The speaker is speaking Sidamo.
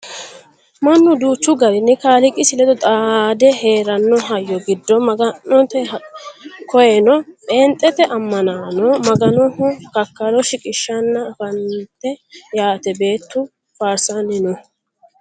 mannu duuchu garinni kaliiqisi ledo xaade heeeranno hayyo giddo maga'note koyeno pheenxete ammanaano maganoho kakkalo shiqishshanna anfannite yaate beettu faarsanni no